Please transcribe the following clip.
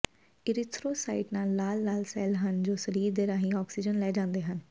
erythrocyte ਲਾਲ ਲਾਲ cell ਹਨ ਜੋ ਸਰੀਰ ਦੇ ਰਾਹੀਂ ਆਕਸੀਜਨ ਲੈ ਜਾਂਦੇ ਹਨ